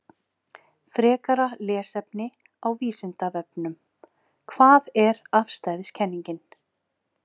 Frekara lesefni á Vísindavefnum: Hvað er afstæðiskenningin?